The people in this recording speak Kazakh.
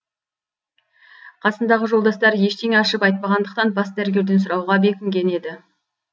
қасындағы жолдастары ештеңе ашып айтпағандықтан бас дәрігерден сұрауға бекінген еді